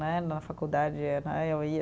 Né, na faculdade, eh eu ia.